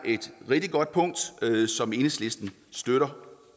et rigtig godt punkt som enhedslisten støtter